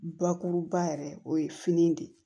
Bakuruba yɛrɛ o ye fini de ye